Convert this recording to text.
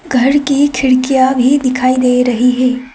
घर की खिड़कियां भी दिखाई दे रही हैं।